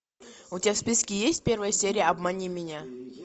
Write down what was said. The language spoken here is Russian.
у тебя в списке есть первая серия обмани меня